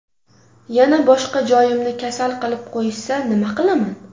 Yana boshqa joyimni kasal qilib qo‘yishsa, nima qilaman?!